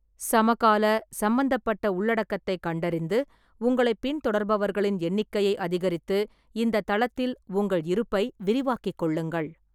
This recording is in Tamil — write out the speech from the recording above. சமகால, சம்பந்தப்பட்ட உள்ளடக்கத்தைக் கண்டறிந்து, உங்களைப் பின்தொடர்பவர்களின் எண்ணிக்கையை அதிகரித்து இந்தத் தளத்தில் உங்கள் இருப்பை விரிவாக்கிக் கொள்ளுங்கள்.